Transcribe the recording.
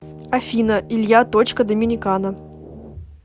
афина илья точка доминикана